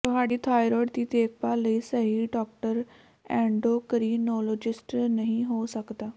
ਤੁਹਾਡੀ ਥਾਈਰੋਇਡ ਦੀ ਦੇਖਭਾਲ ਲਈ ਸਹੀ ਡਾਕਟਰ ਐਂਡੋਕਰੀਨੋਲੋਜਿਸਟ ਨਹੀਂ ਹੋ ਸਕਦਾ